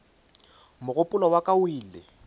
mogopolo wa ka o ile